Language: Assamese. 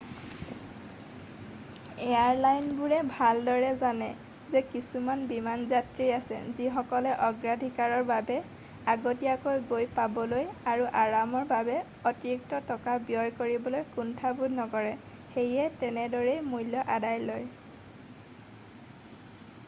এয়াৰলাইনবোৰে ভালদৰে জানে যে কিছুমান বিমান যাত্ৰী আছে যিসকলে অগ্ৰাধিকাৰৰ বাবে আগতীয়াকৈ গৈ পাবলৈ আৰু আৰামৰ বাবে অতিৰিক্ত টকা ব্যয় কৰিবলৈ কুণ্ঠাবোধ নকৰে সেয়ে তেনেদৰেই মূল্য আদায় লয়